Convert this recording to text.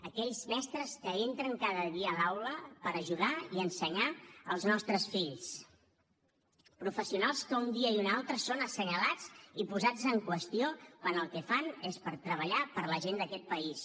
aquells mestres que entren cada dia a l’aula per ajudar i ensenyar els nostres fills professionals que un dia i un altre són assenyalats i posats en qüestió quan el que fan és treballar per la gent d’aquest país